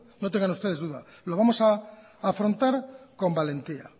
no tengan ustedes duda lo vamos a afrontar con valentía